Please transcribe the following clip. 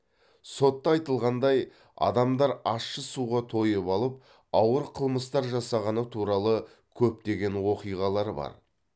сотта айтылғандай адамдар ащы суға тойып алып ауыр қылмыстар жасағаны туралы көптеген оқиғалары бар